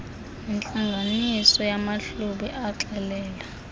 nentlanganiso yamahlubi exelela